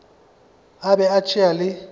a be a tšea le